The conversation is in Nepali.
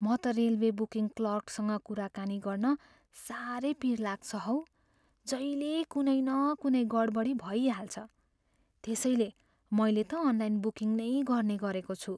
म त रेलवे बुकिङ क्लर्कसँग कुराकानी गर्न साह्रै पिर लाग्छ हौ। जहिल्यै कुनै न कुनै गडबडी भइहाल्छ। त्यसैले मैले त अनलाइन बुकिङ नै गर्ने गरेको छु।